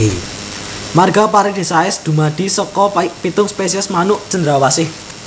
Marga Paradisaea dumadi saka pitung spesies manuk cendrawasih